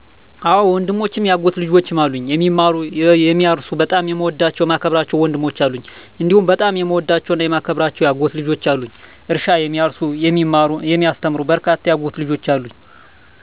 አወ ወንድሞችም የአጎት ልጆችም አሉኝ፦ የሚማሩ፣ የሚያርሱ በጣም የምወዳቸው የማከብራቸው ወንድሞች አሉኝ፤ *እንዲሁም በጣም የምወዳቸውና የማከብራቸው የአጎት ልጆችም አሉኝ፤ *እርሻ የሚያርሱ *የሚማሩ *የሚያስተምሩ በርካታ የአጎት ልጆች አሉኝ።